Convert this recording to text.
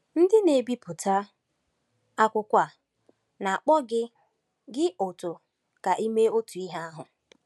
Ndị na-ebipụta akwụkwọ a na-akpọ gị gị ọ̀tọ ka i mee otu ihe ahụ.